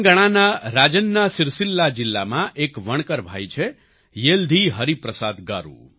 તેલંગાણાના રાજન્ના સિર્સિલ્લા જિલ્લામાં એક વણકર ભાઈ છે યેલ્ધી હરિપ્રસાદ ગારૂ